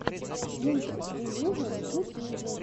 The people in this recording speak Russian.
мультик делюжон в ютьюбе